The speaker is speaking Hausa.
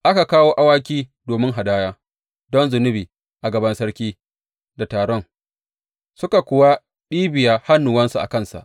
Aka kawo awaki domin hadaya don zunubi a gaban sarki da taron, suka kuwa ɗibiya hannuwansu a kansu.